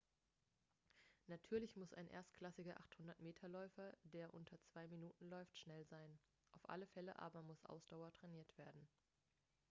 natürlich muss ein erstklassiger 800-m-läufer der unter zwei minuten läuft schnell sein auf alle fälle aber muss ausdauer trainiert werden